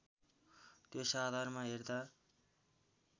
त्यस आधारमा हेर्दा